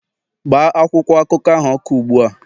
gbaa akwụkwọ akụkọ ahụ ọkụ ugbu a